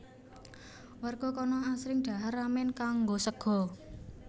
Warga kana asring dhahar ramen nganggo sega